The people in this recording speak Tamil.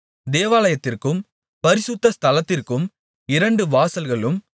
தேவாலயத்திற்கும் பரிசுத்த ஸ்தலத்திற்கும் இரண்டு வாசல்களும்